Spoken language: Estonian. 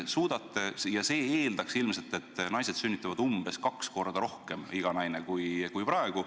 See eeldaks ilmselt, et iga naine sünnitab umbes kaks korda rohkem lapsi kui praegu.